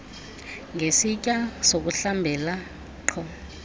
ngesitya sokuhlambela nkqu